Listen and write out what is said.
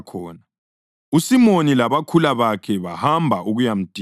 USimoni labakhula bakhe bahamba ukuyamdinga,